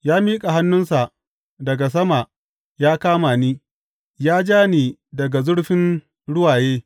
Ya miƙa hannunsa daga sama ya kama ni; ya ja ni daga zurfin ruwaye.